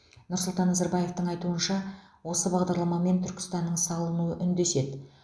нұрсұлтан назарбаевтың айтуынша осы бағдарламамен түркістанның салынуы үндеседі